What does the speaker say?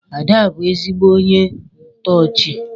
Ada bu ezigbo ónyé ntoochi.